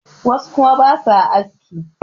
wasu kuma ba sa aski